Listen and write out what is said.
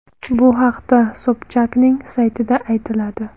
Bu haqda Sobchakning saytida aytiladi .